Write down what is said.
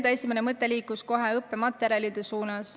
Mu esimene mõte liikus kohe õppematerjalide suunas.